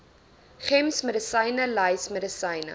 gems medisynelys medisyne